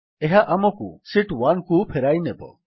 ଏହା ଆମକୁ ଶୀତ୍ 1କୁ ଫେରାଇନେବ